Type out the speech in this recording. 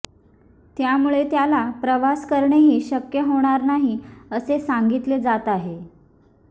त्यामुळे त्याला प्रवास करणेही शक्य होणार नाही असे सांगितले जात आहे